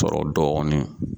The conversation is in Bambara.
Tɔɔrɔ dɔɔni.